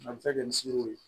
A bɛ se ka kɛ ni sinjiw ye